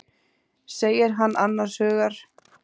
segir hann annars hugar.